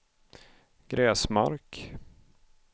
Gräsmark